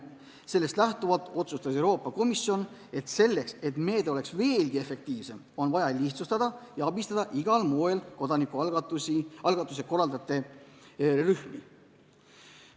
Sellest lähtudes otsustas Euroopa Komisjon, et meetme efektiivsemaks muutmiseks on vaja seda lihtsustada ja abistada igal moel kodanikualgatuse korraldajate rühmi.